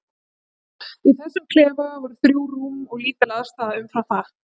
Í þessum klefa voru þrjú rúm og lítil aðstaða umfram það.